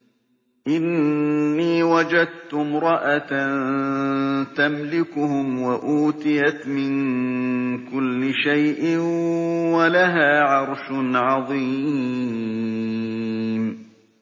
إِنِّي وَجَدتُّ امْرَأَةً تَمْلِكُهُمْ وَأُوتِيَتْ مِن كُلِّ شَيْءٍ وَلَهَا عَرْشٌ عَظِيمٌ